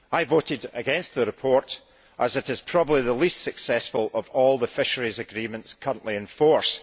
I voted against the report, as it is probably the least successful of all the fisheries agreements currently in force.